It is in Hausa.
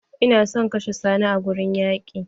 Ina son kashe Sani a wurin yaƙi!